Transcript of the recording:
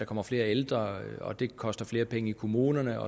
kommer flere ældre og det koster flere penge i kommunerne